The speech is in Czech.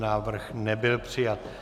Návrh nebyl přijat.